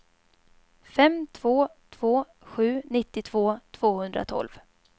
fem två två sju nittiotvå tvåhundratolv